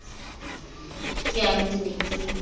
ke yang ke ne ke